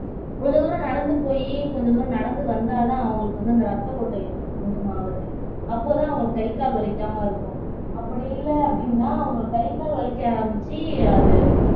கொஞ்ச தூரம் நடந்து போயி கொஞ்ச தூரம் நடந்து வந்தாதான் அவங்களுக்கு வந்து அந்த ரத்த ஓட்டம் இருக்கும் கொஞ்சமாவது அப்போதான் அவங்க கை கால் வலிக்காம இருக்கும் அப்படி இல்ல அப்படின்னா அவங்க கை கால் வலிக்க ஆரம்பிச்சு அது